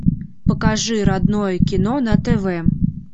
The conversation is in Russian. покажи родное кино на тв